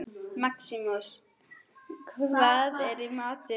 Maximus, hvað er í matinn?